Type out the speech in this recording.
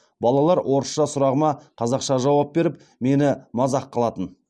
балалар орысша сұрағыма қазақша жауап беріп мені мазақ қылатын